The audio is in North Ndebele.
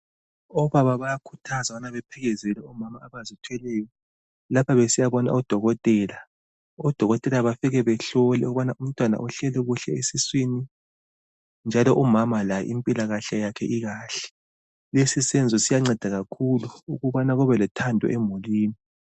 Obaba bayakhuthazwa ukuba baphelekezele omama abazithweleyo lapha besiyabona odokotela. Odokotela bafike behlole ukubana umntwana uhleli kahle esiswini njalo umama laye impilakahle ekahle. Lesi senzo siyanceda kakhulu ukubana kube lothando emulini.